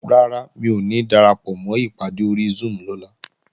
Rárá, mi ò ní darapọ̀mọ́ ìpàdé ori Zoom lọ́la